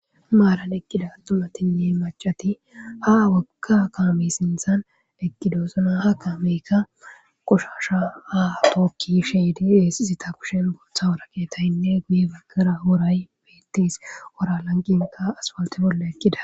Maran eqida atumatine mac'ati ha woga kame sintan eqidosona ha kameka qoshasha ha tokidi yishe de'es eta kushen guta woraqataynne guye bagara woray betes wora lanqenka asfalte bola eqida.